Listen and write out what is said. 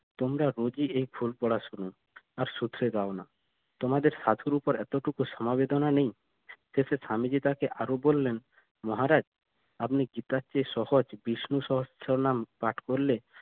তোমরা রোজই এই ফুল পড়া শুনো আর শোধরে দাও না তোমাদের সাধুর উপর এতটুকু সমবেদনা নেই শেষে স্বামীজি তাকে আরো বললেন মহারাজ আপনি গীতার চেয়ে সহজ বিষ্ণু সহস্র নাম পাঠ করলে